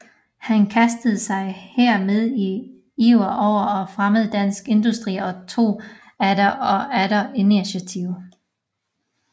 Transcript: Han kastede sig her med iver over at fremme dansk industri og tog atter og atter initiativet